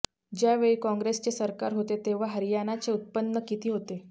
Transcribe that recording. ज्यावेळी कॉंग्रेसचे सरकार होते तेव्हा हरियाणाचे उत्पन्न किती होते